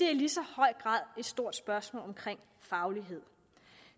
i lige så høj grad et stort spørgsmål om faglighed